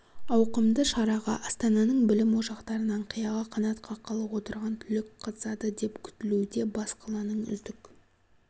ауқымды шараға астананың білім ошақтарынан қияға қанат қаққалы отырған түлек қатысады деп күтілуде бас қаланың үздік